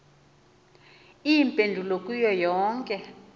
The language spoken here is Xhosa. iimpendulo kuyo yonke